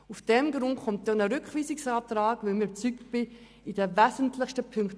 Aus diesem Grund habe ich einen Rückweisungsantrag zu Artikel 31a gestellt.